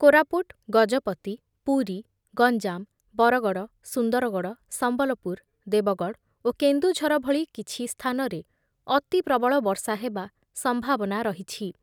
କୋରାପୁଟ, ଗଜପତି, ପୁରୀ, ଗଞ୍ଜାମ, ବରଗଡ଼, ସୁନ୍ଦରଗଡ଼, ସମ୍ବଲପୁର, ଦେବଗଡ଼ ଓ କେନ୍ଦୁଝର ଭଳି କିଛି ସ୍ଥାନରେ ଅତି ପ୍ରବଳ ବର୍ଷା ହେବା ସମ୍ଭାବନା ରହିଛି ।